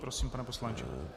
Prosím, pane poslanče.